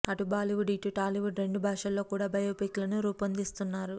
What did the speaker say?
అటు బాలీవుడ్ ఇటు టాలీవుడ్ రెండు భాషల్లో కూడా బయోపిక్ లను రూపొందిస్తున్నారు